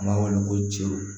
An b'a wele ko cɛw